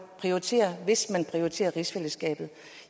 prioritere hvis man vil prioritere rigsfællesskabet